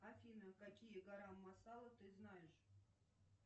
афина какие гарам масала ты знаешь